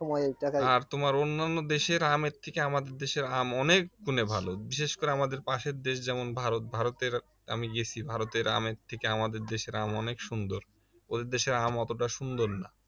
আর অন্যান্য দেশের আম এর থেকে আমাদের দেশের আম অনেক গুণে ভালো বিশেষ করে আমাদের পাশের দেশ যেমন ভারত ভারতের আমি গেছি ভারতের আমের থেকে আমাদের দেশের আম অনেক সুন্দর ওদের দেশের আম অতটা সুন্দর না